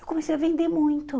Eu comecei a vender muito.